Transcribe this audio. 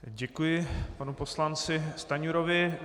Děkuji panu poslanci Stanjurovi.